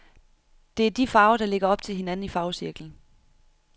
Det er de farver, der ligger op til hinanden i farvecirklen.